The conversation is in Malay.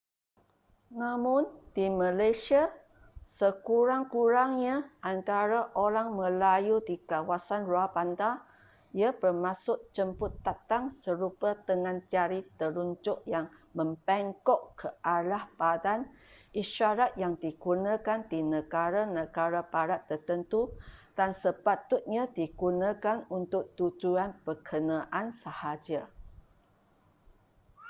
namun di malaysia sekurang-kurangnya antara orang melayu di kawasan luar bandar ia bermaksud jemput datang serupa dengan jari telunjuk yang membengkok ke arah badan isyarat yang digunakan di negara-negara barat tertentu dan sepatutnya digunakan untuk tujuan berkenaan sahaja